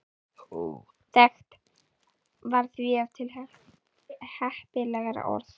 Óþekkt var því ef til heppilegra orð.